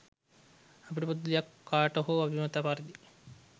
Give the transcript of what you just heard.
අපිට පොදු දෙයක් කාට හෝ අභිමත පරිදි